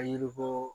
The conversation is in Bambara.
Yiri bɔ